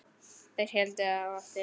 Þeir héldu á eftir þeim!